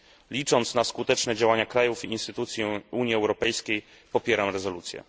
Licząc na skuteczne działania krajów i instytucji Unii Europejskiej, popieram rezolucję.